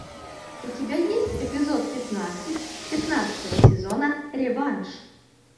у тебя есть эпизод пятнадцать пятнадцатого сезона реванш